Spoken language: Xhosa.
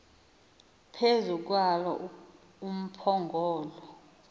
phezu kwalo umphongolo